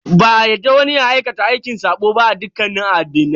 Ba a yarda wani ya aikata aikin sabo ba a dukkanin addinan.